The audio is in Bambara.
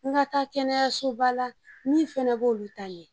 N ka taa kɛnɛyasoba la min fana b'olu ta ye